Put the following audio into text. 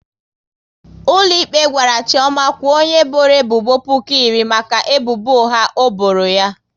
Ụlọikpe gwara Chioma kwuo onye bọrọ ebubo puku iri maka ebubo ụgha o bọrọ ya